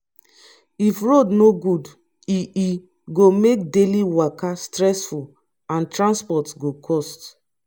if road no good e e go make daily waka stressful and transport go cost